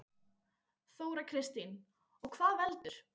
Þóra Kristín: Og hvað veldur?